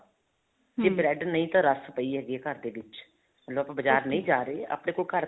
ਜੇ bread ਨਹੀਂ ਤਾਂ ਰੱਸ ਪਈ ਹੈਗੀ ਘਰ ਦੇ ਵਿੱਚ ਜਦੋਂ ਆਪਾਂ ਬਾਜਾਰ ਨਹੀਂ ਜਾ ਰਹੇ ਆਪਣੇ ਕੋਲ ਘਰ